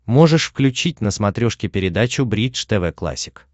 можешь включить на смотрешке передачу бридж тв классик